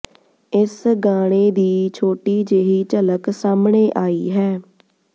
ਇਸ ਗਾਣੇ ਦੀ ਛੋਟੀ ਜਿਹੀ ਝਲਕ ਸਾਹਮਣੇ ਆਈ ਹੈ